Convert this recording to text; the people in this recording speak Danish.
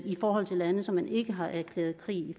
i forhold til lande som man ikke har erklæret krig